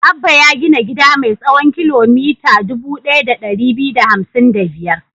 Abba ya gina gida mai tsawon kilomita dubu ɗaya da ɗari biyu da hamsin da biyar.